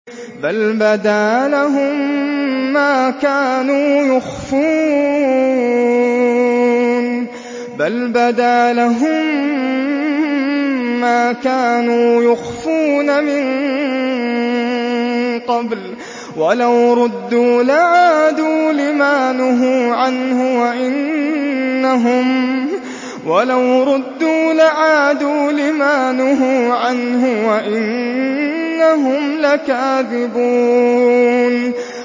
بَلْ بَدَا لَهُم مَّا كَانُوا يُخْفُونَ مِن قَبْلُ ۖ وَلَوْ رُدُّوا لَعَادُوا لِمَا نُهُوا عَنْهُ وَإِنَّهُمْ لَكَاذِبُونَ